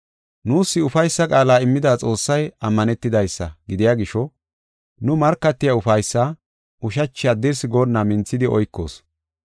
Nuus ufaysa qaala immida Xoossay ammanetidaysa gidiya gisho nu markatiya ufaysaa ushachi haddirsi goonna minthidi oykoos.